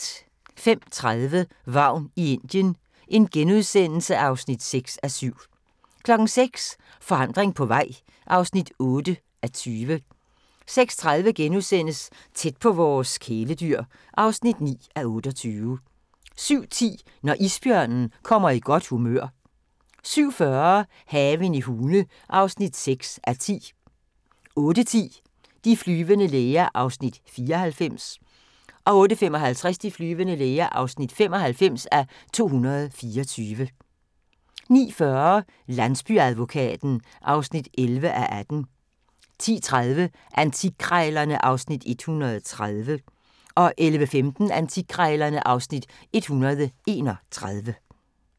05:30: Vagn i Indien (6:7)* 06:00: Forandring på vej (8:20) 06:30: Tæt på vores kæledyr (9:28)* 07:10: Når isbjørnen kommer i godt humør 07:40: Haven i Hune (6:10) 08:10: De flyvende læger (94:224) 08:55: De flyvende læger (95:224) 09:40: Landsbyadvokaten (11:18) 10:30: Antikkrejlerne (Afs. 130) 11:15: Antikkrejlerne (Afs. 131)